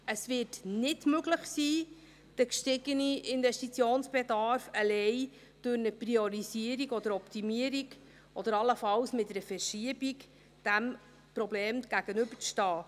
Es wird möglich sein, allein durch eine Priorisierung oder Optimierung oder allenfalls mit einer Verschiebung, dem gestiegenen Investitionsbedarf, diesem Problem entgegenzutreten.